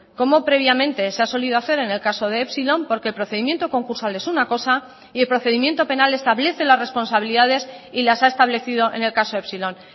como previamente se ha solido hacer en el caso de epsilon porque el procedimiento concursal es una cosa y el procedimiento penal establece las responsabilidades y las ha establecido en el caso epsilon